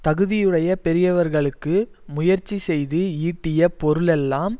தகுதியுடைய பெரியவர்களுக்கு முயற்சி செய்து ஈட்டிய பொருளெல்லாம்